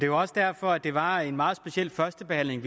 jo også derfor at det var en meget speciel første behandling